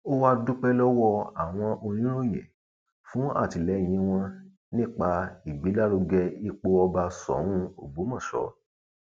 ó wáá dúpẹ lọwọ àwọn oníròyìn fún àtìlẹyìn wọn nípa ìgbélárugẹ ipò ọba soun ògbómọṣọ